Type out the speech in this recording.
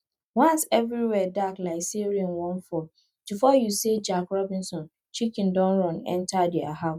once every where dark like say rain wan fall before you say jack robinson chicken don run enter their house